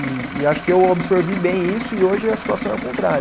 E e acho que eu absorvi bem isso e hoje a situação é o contrário.